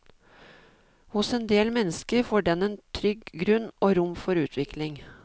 Hos en del mennesker får den en trygg grunn og rom for utvikling.